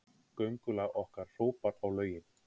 Göngulag okkar hrópar á lögin.